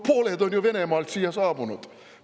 Pooled on ju Venemaalt siia saabunud!